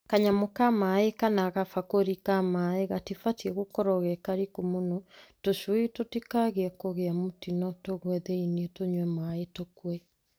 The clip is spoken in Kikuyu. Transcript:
Kanyamũ ka maaĩ kana kabakũri ka maaĩ, gatibatiĩ gũkorwo gekariku mũno tũcui tũtikae kũgĩa mũtino tũgũe thĩinĩ tũnywe maaĩ tũkue.